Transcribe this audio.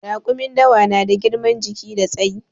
Raƙumin dawa na da girman jiki da tsayi